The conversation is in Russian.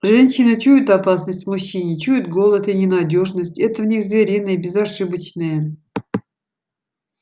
женщины чуют опасность в мужчине чуют голод и ненадёжность это в них звериное безошибочное